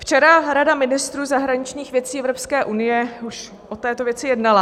Včera Rada ministrů zahraničních věcí Evropské unie už o této věci jednala.